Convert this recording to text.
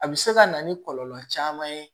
A bɛ se ka na ni kɔlɔlɔ caman ye